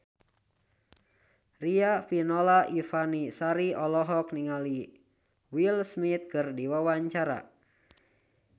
Riafinola Ifani Sari olohok ningali Will Smith keur diwawancara